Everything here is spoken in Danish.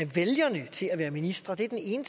vælgerne til at være ministre det er den ene